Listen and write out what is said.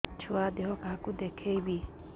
ଛୁଆ ଦେହ କାହାକୁ ଦେଖେଇବି